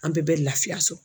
An bɛɛ bɛ laafiya so